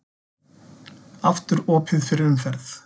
Aftur opið fyrir umferð